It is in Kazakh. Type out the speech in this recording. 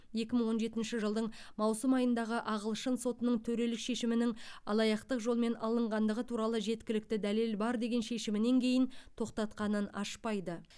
екі мың он жетінші жылдың маусым айындағы ағылшын сотының төрелік шешімінің алаяқтық жолмен алынғандығы туралы жеткілікті дәлел бар деген шешімінен кейін тоқтатқанын ашпайды